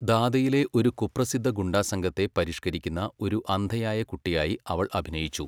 ദാദയിലെ ഒരു കുപ്രസിദ്ധ ഗുണ്ടാസംഘത്തെ പരിഷ്ക്കരിക്കുന്ന ഒരു അന്ധയായ കുട്ടിയായി അവൾ അഭിനയിച്ചു.